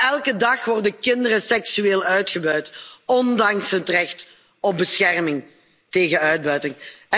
Elke dag worden kinderen seksueel uitgebuit, ondanks het recht op bescherming tegen uitbuiting.